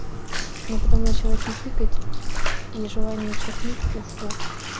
ну потом начала хихикать и желание чихнуть ушло